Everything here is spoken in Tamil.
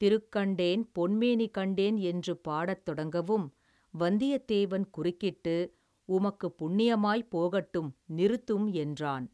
திருக்கண்டேன் பொன்மேனி கண்டேன் என்று பாடத் தொடங்கவும் வந்தியத்தேவன் குறுக்கிட்டு உமக்குப் புண்ணியமாய்ப் போகட்டும் நிறுத்தும் என்றான்.